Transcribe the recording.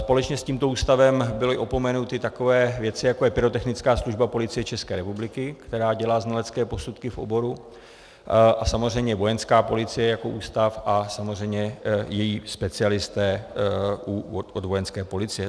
Společně s tímto ústavem byly opomenuty takové věci, jako je Pyrotechnická služba Policie České republiky, která dělá znalecké posudky v oboru, a samozřejmě Vojenská policie jako ústav a samozřejmě její specialisté u Vojenské policie.